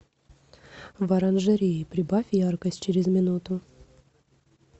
в оранжерее прибавь яркость через минуту